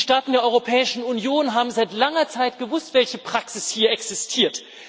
Die Staaten der Europäischen Union haben seit langer Zeit gewusst, welche Praxis hier existiert.